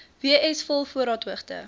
w s volvoorraadhoogte